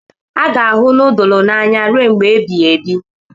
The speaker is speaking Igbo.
A ga-ahụ nudulu n'anya ruo mgbe ebighị ebi